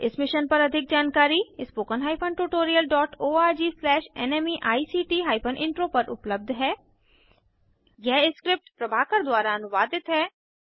इस मिशन पर अधिक जानकारी spoken hyphen tutorial dot org slash NMEICT hyphen intro पर उपलब्ध है यह स्क्रिप्ट प्रभाकर द्वारा अनुवादित है